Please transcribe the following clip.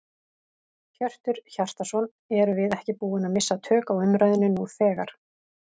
Hjörtur Hjartarson: Erum við ekki búin að missa tök á umræðunni nú þegar?